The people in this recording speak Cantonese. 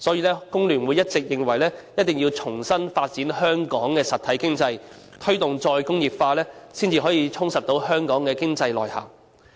所以，工聯會一直認為，我們必須重新發展香港的實體經濟，推動再工業化，才可以充實香港的經濟內涵。